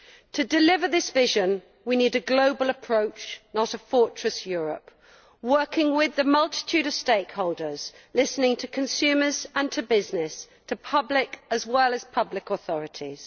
To deliver this vision we need a global approach, not a fortress Europe working with a multitude of stakeholders, listening to consumers and to business, the public as well as public authorities.